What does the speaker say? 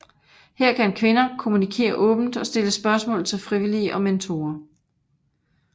Her kan kvinder kommunikere åbent og stille spørgsmål til frivillige og mentorer